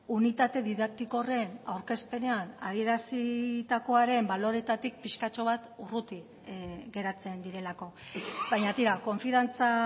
unitate didaktiko horren aurkezpenean adierazitakoaren baloretatik pixkatxo bat urruti geratzen direlako baina tira konfiantza